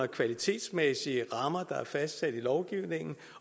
kvalitetsmæssige rammer der er fastsat i lovgivningen